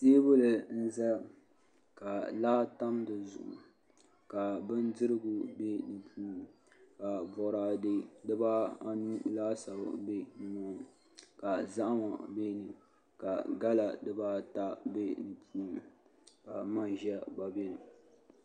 Teebuli n ʒɛya ka laa tam di zuɣu ka bindirigu bɛ di puuni ka boraadɛ dibaa anu laasabu bɛ dinni ka zahama bɛ ni ka gala dibaata bɛ di puuni ka manʒa gba bɛni